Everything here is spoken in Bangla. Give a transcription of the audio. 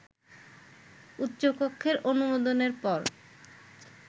উচ্চকক্ষের অনুমোদনের পর